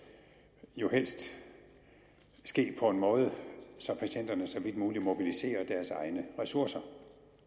helst ske på en måde så patienterne så vidt muligt mobiliserer deres egne ressourcer